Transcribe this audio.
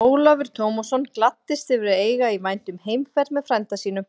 Ólafur Tómasson gladdist yfir að eiga í vændum heimferð með frænda sínum.